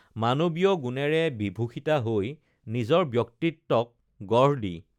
মান‌ৱীয় গুণেৰে বিভূষিতা হৈ নিজৰ ব্যক্তিত্বক গঢ় দি